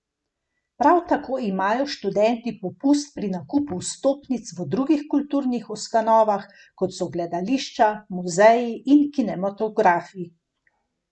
Prav tako imajo študenti popust pri nakupu vstopnic v drugih kulturnih ustanovah, kot so gledališča, muzeji in kinematografi.